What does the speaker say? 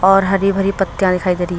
और हरी भरी पत्ती दिखाई दे रही--